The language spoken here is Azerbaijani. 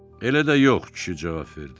Elə də yox, kişi cavab verdi.